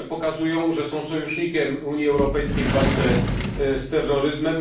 Indie pokazują, że są sojusznikiem Unii Europejskiej w walce z terroryzmem.